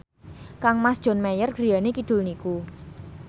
kangmas John Mayer griyane kidul niku